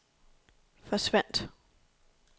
forsvandt